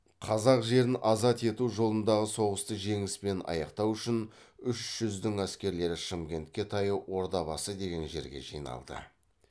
қазақ жерін азат ету жолындағы соғысты жеңіспен аяқтау үшін үш жүздің әскерлері шымкентке таяу ордабасы деген жерге жиналды